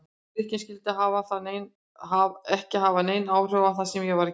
Drykkjan skyldi ekki hafa nein áhrif á það sem ég var að gera.